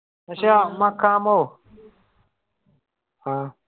ആ